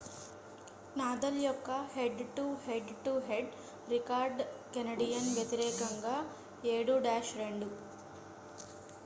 Nadal యొక్క head to head to head record Canadian వ్యతిరేకంగా 7-2